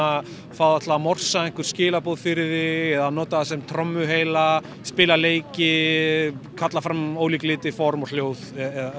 fá það til að einhver skilaboð fyrir þig eða nota það sem trommuheila spila leiki kalla fram ólíka liti form og hljóð